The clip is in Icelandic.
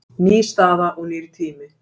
Ný staða og nýr tími